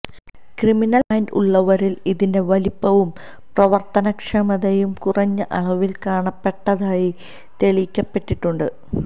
criminal mind ഉള്ളവരിൽ ഇതിന്റെ വലിപ്പവും പ്രവർത്തനക്ഷമതയും കുറഞ്ഞ അളവിൽ കാണപ്പെട്ടതായി തെളിയിക്കപ്പെട്ടിട്ടുണ്ട്